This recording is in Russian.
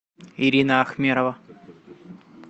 ирина ахмерова